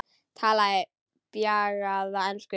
Talaði bjagaða ensku: